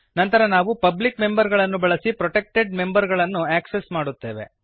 ನಂತರ ನಾವು public member ಗಳನ್ನು ಬಳಸಿ ಪ್ರೊಟೆಕ್ಟೆಡ್ ಮೆಂಬರ್ ಗಳನ್ನು ಆಕ್ಸೆಸ್ ಮಾಡುತ್ತೇವೆ